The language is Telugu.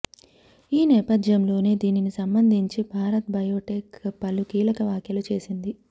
ఈ నేపథ్యంలోనే దీనిని సంబంధించి భారత్ బయోటెక్ పలు కీలక వ్యాఖ్యలు చేసింది